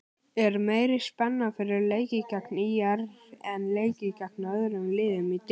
Er meiri spenna fyrir leiki gegn ÍR en leiki gegn öðrum liðum í deildinni?